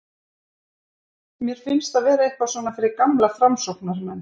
Mér finnst það vera eitthvað svona fyrir gamla framsóknarmenn.